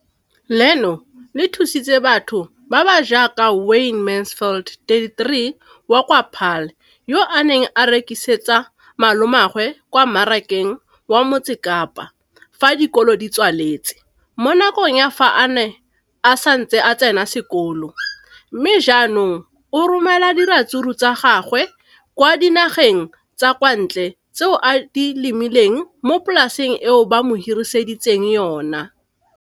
Leno le thusitse batho ba ba jaaka Wayne Mansfield, 33, wa kwa Paarl, yo a neng a rekisetsa malomagwe kwa Marakeng wa Motsekapa fa dikolo di tswaletse, mo nakong ya fa a ne a santse a tsena sekolo, mme ga jaanong o romela diratsuru tsa gagwe kwa dinageng tsa kwa ntle tseo a di lemileng mo polaseng eo ba mo hiriseditseng yona.